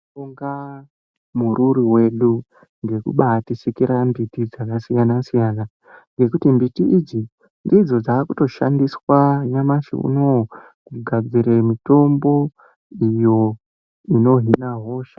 Tinobonga mururi wedu ngekubatisikira mbiti dzakasiyana siyana ngekuti mbiti idzi ndidzo dzakutoshandiswa nyamashi unowu kugadzire mitombo iyo inohina hosha.